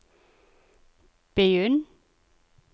begynn